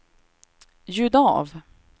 ljud av